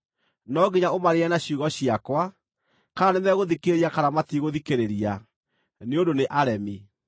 No nginya ũmaarĩrie na ciugo ciakwa, kana nĩmegũthikĩrĩria kana matigũthikĩrĩria, nĩ ũndũ nĩ aremi.